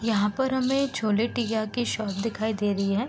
यहाँ पर हमें छोले टिकिया की शॉप दिखाई दे रही है।